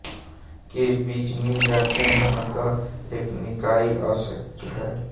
के बीज मिल जाते हैं अत एक निकाई आवश्यक है